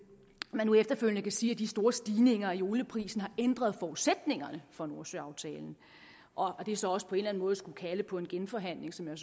man nu efterfølgende siger at de store stigninger i olieprisen har ændret forudsætningerne for nordsøaftalen og at det så også på en eller anden måde skulle kalde på en genforhandling som jeg